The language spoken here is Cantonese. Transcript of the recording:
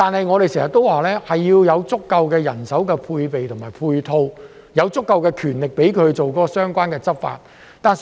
我們經常說，要有足夠的人手配備和配套，有足夠的權力作出相關執法。